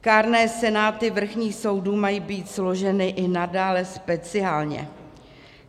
Kárné senáty vrchních soudů mají být složeny i nadále speciálně.